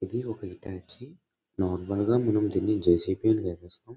ఇది ఒక Hitachi . Normal గా మనం దీన్ని జె.సి.బి. అని పిలుస్తాం.